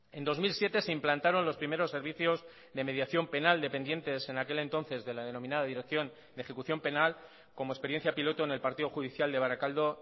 en dos mil siete se implantaron los primeros servicios de mediación penal dependientes en aquel entonces de la denominada dirección de ejecución penal como experiencia piloto en el partido judicial de barakaldo